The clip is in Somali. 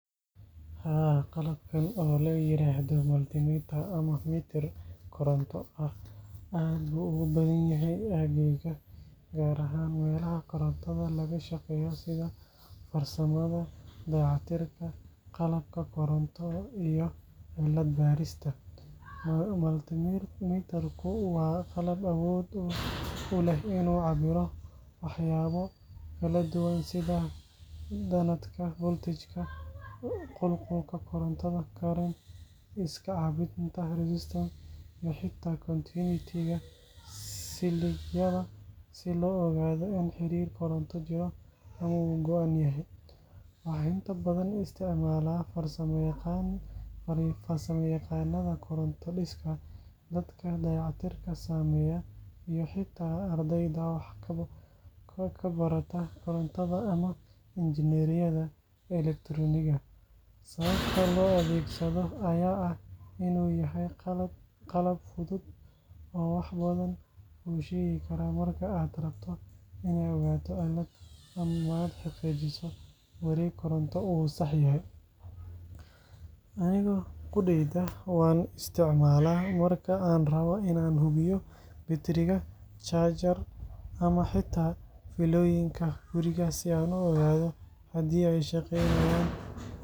Haa, qalabkan oo la yiraahdo multimeter ama mitir koronto ah aad buu ugu badan yahay aaggayga, gaar ahaan meelaha korontada laga shaqeeyo sida farsamada, dayactirka qalabka koronto iyo cilad baarista. Multimeter-ku waa qalab awood u leh inuu cabbiro waxyaabo kala duwan sida danabka voltage, qulqulka koronto current, iska caabbinta resistance, iyo xitaa continuity-ga siligyada si loo ogaado in xiriir koronto jiro ama uu go’an yahay. Waxaa inta badan isticmaala farsamayaqaannada koronto-dhiska, dadka dayactirka sameeya, iyo xitaa ardayda wax ka barata korontada ama injineeriyadda elektaroonigga. Sababta loo adeegsado ayaa ah in uu yahay qalab fudud oo wax badan kuu sheegi kara marka aad rabto inaad ogaato cilad ama aad xaqiijiso in wareeg koronto uu sax yahay. Aniga qudheyda waan isticmaalaa marka aan rabbo in aan hubiyo batteriga, charger, ama xitaa fiilooyinka guriga si aan u ogaado haddii ay shaqaynayaan.